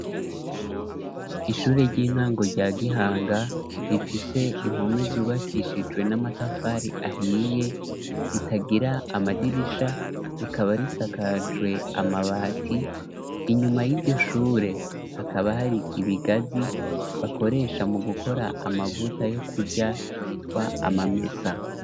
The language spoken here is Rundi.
Ishure ry'intango rya Gihanga rifishe impome zubakishijwe n'amatavari ahiye ritagira amadirisha rikaba risakajwe amabati inyuma y'iryo shure hakaba hari ibigazi bakoresha mu gukora amavuta yo kujya yitwa amamesa.